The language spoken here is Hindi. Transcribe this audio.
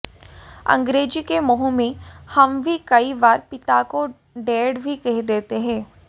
अंग्रेजी के मोह में हम भी कई बार पिता को डैड भी कह देते हैं